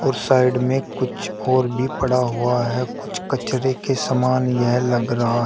और साइड में कुछ और भी पड़ा हुआ है कुछ कचरे के समान यह लग रहा है।